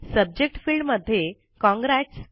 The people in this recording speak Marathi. सब्जेक्ट फील्ड मध्ये काँग्रॅट्स